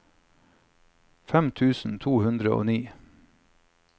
femten tusen to hundre og ni